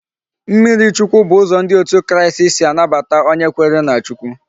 Mmiri chukwu bu uzo ndi out kristi si anabata onye kwere na Chukwu